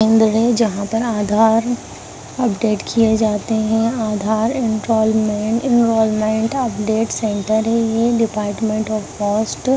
केंद्र है जहाँ पर आधार अपडेट किये जाते हैं Aadhaar enrolment enrolment update centre है ये डिपार्टमेंट ऑफ पोस्ट --